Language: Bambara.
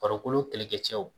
Farikolo kɛlɛkɛcɛw